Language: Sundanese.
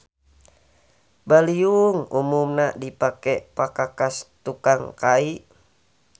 Baliung umumna dipake pakakas tukang kai.